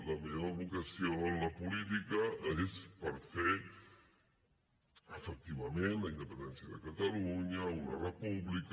la meva vocació en la política és per fer efectivament la independència de catalunya una república